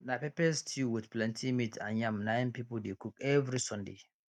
na pepper stew with plenty meat and yam na im people dey cook every sunday